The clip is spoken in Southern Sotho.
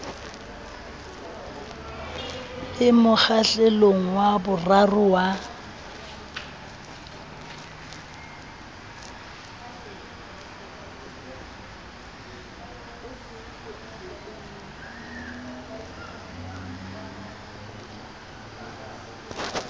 le mokgahlelong wa boraro wa